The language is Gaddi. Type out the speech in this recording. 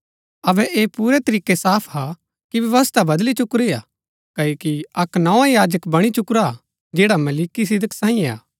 अबै ऐह पुरै तरीकै साफ हा कि व्यवस्था बदली चुकुरी हा क्ओकि अक्क नोआ याजक बणी चुकुरा हा जैड़ा मलिकिसिदक सांईयै हा